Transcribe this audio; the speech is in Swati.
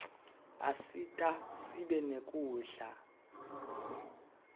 asita sibe nekudla